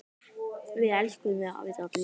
Við elskum þig, afi Dalli.